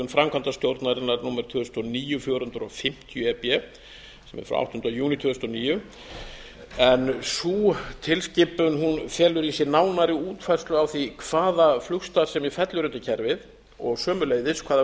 ákvörðun framkvæmdastjórnarinnar tvö þúsund og níu fjögur hundruð fimmtíu e b sem er frá áttunda júní tvö þúsund og níu en sú tilskipun felur í sér nánari útfærslu á því hvaða flugstarfsemi fellur undir kerfið og sömuleiðis hvaða